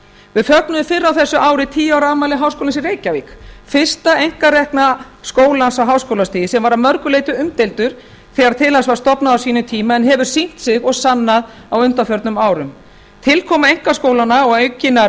við fögnuðum fyrr á þessu ári tíu ári afmæli háskólans í reykjavík fyrsta einkarekna skólans á háskólastigi sem var að mörgu leyti umdeildur þegar til hans var stofnað á sínum tíma en hefur sýnt sig og sannað á undanförnum árum tilkoma einkaskólanna og aukinnar